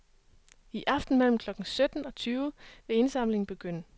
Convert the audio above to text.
I aften mellem klokken sytten og tyve vil indsamlingen begynde.